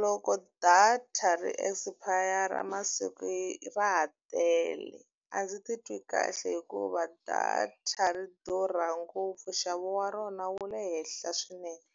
Loko data ri expire-ra masiku ye ra ha tele, a ndzi titwi kahle hikuva data ri durha ngopfu. Nxavo wa rona wu le henhla swinene,